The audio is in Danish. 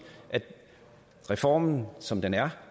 reformen som den er